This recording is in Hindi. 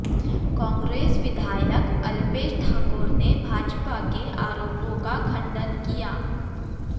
कांग्रेस विधायक अल्पेश ठाकोर ने भाजपा के आरोपों का खंडन किया है